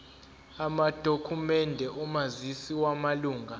amadokhumende omazisi wamalunga